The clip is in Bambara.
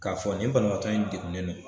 K'a fɔ nin banabaatɔ in degunnen don